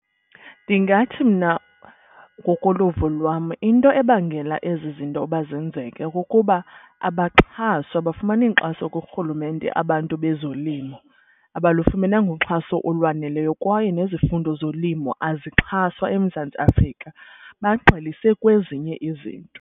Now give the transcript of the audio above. Ndingathi mna ngokoluvo lwam into ebangela ezi zinto uba zenzeke kukuba abaxhaswa, abafumani nkxaso kurhulumente abantu bezolimo, abalufumenanga uxhaso olwaneleyo. Kwaye nezifundo zolimo azixhaswa eMzantsi Afrika. Bagxilise kwezinye izinto.